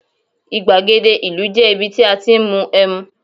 igbagede ìlú je ibi tí a ti n mu em